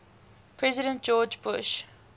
president george bush